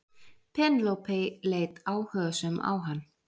Penélope leit áhugasöm á hann.